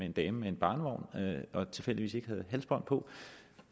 en dame med en barnevogn og tilfældigvis ikke halsbånd på